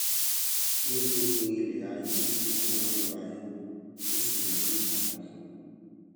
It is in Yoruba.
ní gbogbo ilè ayé wón máa ń ra epo wón sì máa ń ta á fún